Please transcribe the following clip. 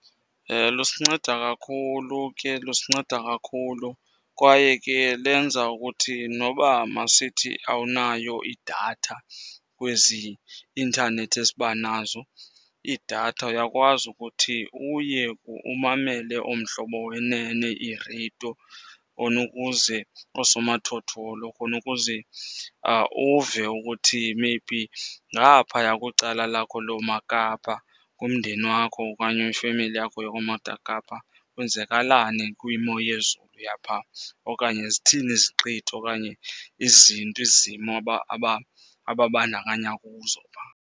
Lusinceda kakhulu ke, lusinceda kakhulu. Kwaye ke lenza ukuthi noba masithi awunayo idatha kwezi intanethi esiba nazo, iidatha uyakwazi ukuthi uye umamele ooMhlobo Wenene iireyidiyo khona ukuze, osomathotholo khona ukuze uve ukuthi maybe ngaphaya kwicala lakho loomaKapa, kumndeni wakho okanye kwifemeli yakho kwenzakalani kwimo yezulu yapha. Okanye zithini iziqithi okanye izinto, izimo ababandakanya kuzo phaa.